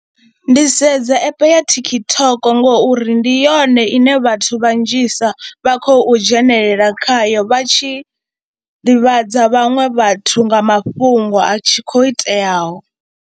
Ndi sedza app ya TikTok ngori ndi yone ine vhathu vhanzhisa vha khou dzhenelela khayo vha tshi ḓivhadza vhaṅwe vhathu nga mafhungo a tshi khou iteaho.